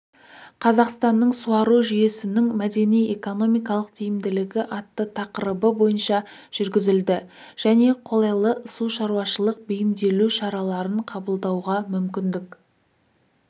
қазақстанның суару жүйесінің мәдени-экономикалық тиімділігі атты тақырыбы бойынша жүргізілді және қолайлы сушаруашылық бейімделу шараларын қабылдауға мүмкіндік